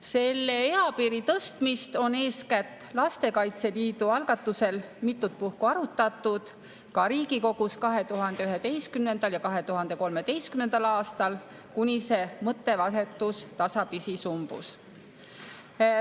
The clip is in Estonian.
Selle eapiiri tõstmist on eeskätt Lastekaitse Liidu algatusel mitut puhku arutatud ka Riigikogus, 2011. ja 2013. aastal, kuni see mõttevahetus tasapisi sumbus.